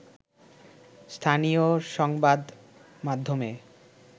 স্থানীয় সংবাদমাধ্যমে